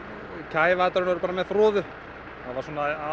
kæfa þetta með froðu það var